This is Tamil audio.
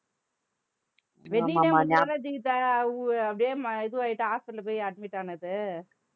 wedding day முடிஞ்சவுடனே ஜீவிதா அஹ் வு~ அப்படியே ம~ இதுவாயிட்டு hospital போய் admit ஆனது